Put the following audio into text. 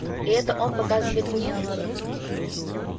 и это он показывает мне